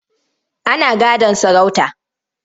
Ana gadon sarauta.